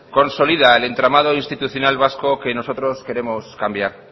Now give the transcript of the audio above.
consolida el entramado institucional vasco que nosotros queremos cambiar